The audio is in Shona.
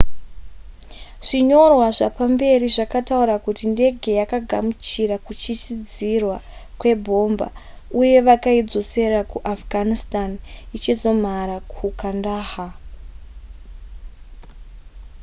zvinyorwa zvapamberi zvakataura kuti ndenge yakagamuchira kuchisidzirwa kwebhomba uye vakazoidzosera ku afghanitstan ichizomhara mukandahar